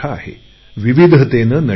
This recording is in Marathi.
विविधतेने नटलेला आहे